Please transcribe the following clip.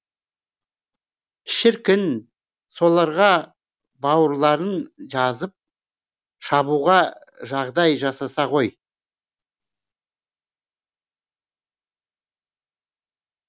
шіркін соларға бауырларын жазып шабуға жағдай жасаса ғой